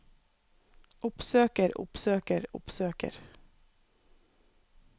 oppsøker oppsøker oppsøker